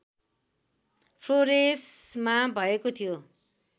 फ्लोरेसमा भएको थियो